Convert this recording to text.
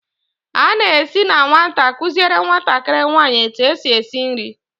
a na-esi na nwata, kuziere nwatakịrị nwanyị etu esi esi nri.